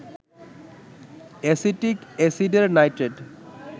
acetic অ্যাসিডের nitrate